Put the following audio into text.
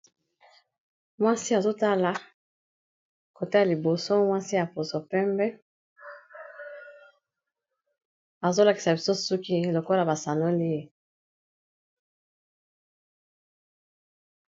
Mwasi, azotala kote ya liboso. Mwasi ya poso pembe. Azo lakisa biso, suki lokola ba sanolie.